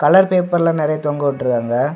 Colour paper எல்லா நறைய தொங்க விட்டுருக்காங்க.